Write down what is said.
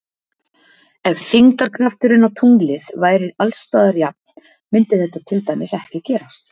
Ef þyngdarkrafturinn á tunglið væri alls staðar jafn mundi þetta til dæmis ekki gerast.